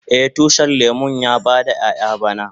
Eh, tushin lemun ya yi bada ƴayan bana.